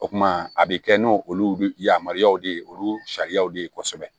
O kuma a bɛ kɛ n'olu yamaruyaw de ye olu sariyaw de ye kosɛbɛ